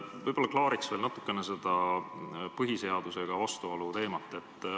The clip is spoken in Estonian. Võib-olla klaariks veel natukene seda põhiseadusega vastuolu teemat.